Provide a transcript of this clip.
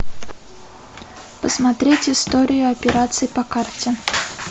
посмотреть историю операций по карте